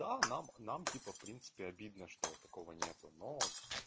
да нам нам типа в принципе обидно что такого нету но